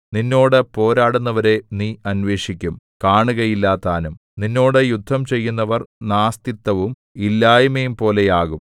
നിന്നോട് പോരാടുന്നവരെ നീ അന്വേഷിക്കും കാണുകയില്ലതാനും നിന്നോട് യുദ്ധം ചെയ്യുന്നവർ നാസ്തിത്വവും ഇല്ലായ്മയുംപോലെ ആകും